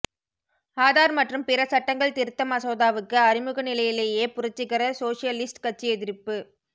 ஆதார் மற்றும் பிற சட்டங்கள் திருத்த மசோதாவுக்கு அறிமுக நிலையிலேயே புரட்சிகர சோஷலிஸ்ட் கட்சி எதிர்ப்பு